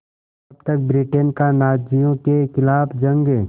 तब तक ब्रिटेन का नाज़ियों के ख़िलाफ़ जंग